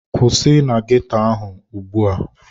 Kwụsị na ghetto ahụ ugbu a!